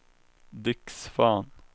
Dick Svahn